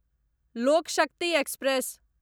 लोक शक्ति एक्सप्रेस